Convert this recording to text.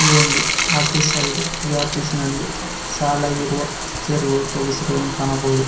ಇದೊಂದು ಆಫೀಸ್ ಆಗಿದೆ ಈ ಆಫೀಸಿನಲ್ಲಿ ಸಲಾಗಿರುವ ಚೇರುಗಳು ಸೋಫಾ ಸೀಟುಗಳನ್ನು ಕಾಣಬಹುದು.